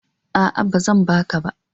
A'a, ba zan ba ka ba.